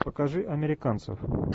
покажи американцев